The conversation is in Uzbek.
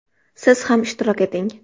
Siz ham ishtirok eting!